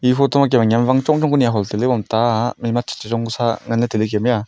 e photo ma kemme niauwang chong Chong ku ni aho sile haiboma taa mai ma chu chichong ku sa ngan le taile kemme aa.